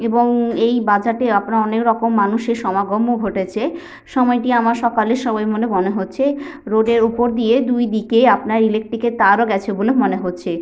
এবং এই বাজার -টি আপনার অনেক রকম মানুষের সমাগম ও ঘটেছে । সময়টি আমার সকালের সময় বলে মনে হচ্ছে । রোড -এর ওপর দিয়ে দুইদিকে আপনার ইলেকট্রিক -এর তার ও গেছে বলে মনে হচ্ছে।